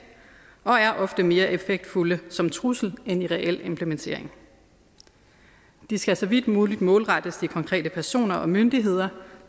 og er ofte mere effektfulde som trussel end ved reel implementering de skal så vidt muligt målrettes de konkrete personer og myndigheder